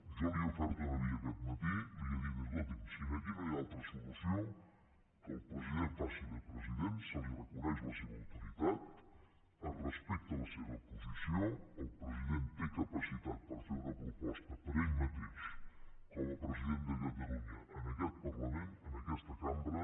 jo li he ofert una via aquest matí li he dit escolti’m si aquí no hi ha altra solució que el president faci de president se li reconeix la seva autoritat es respecta la seva posició el president té capacitat per fer una proposta per ell mateix com a president de catalunya en aquest parlament en aquesta cambra